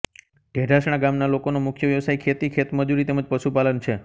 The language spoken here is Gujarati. ઢેઢાસણા ગામના લોકોનો મુખ્ય વ્યવસાય ખેતી ખેતમજૂરી તેમ જ પશુપાલન છે